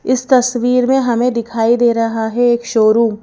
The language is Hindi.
इस तस्वीर में हमें दिखाई दे रहा है एक शोरूम --